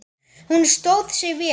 Hún stóð sig vel.